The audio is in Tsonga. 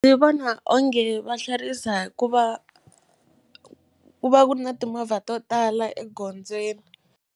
Ndzi vona onge va hlwerisa hikuva ku va ku na timovha to tala egondzweni.